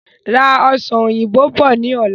Ra Ọsàn òyìnbó bọ̀ ni ọ̀la!